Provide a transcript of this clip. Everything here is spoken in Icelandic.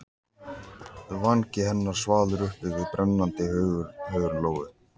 Vangi hennar svalur uppi við brennandi hörund Lóu.